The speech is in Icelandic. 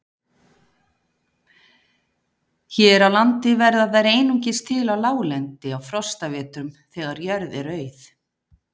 Hér á landi verða þær einungis til á láglendi á frostavetrum, þegar jörð er auð.